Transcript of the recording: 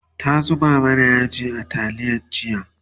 ta zuba mana yaji a taliya jiya